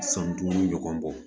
San duuru ɲɔgɔn bɔ